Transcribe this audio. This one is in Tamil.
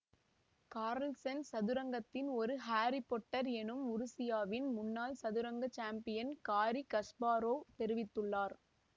கார்ல்சன் சதுரங்கத்தின் ஒரு ஹாரி பொட்டர் என உருசியாவின் முன்னாள் சதுரங்க சாம்பியன் காரி கஸ்பாரொவ் தெரிவித்துள்ளார்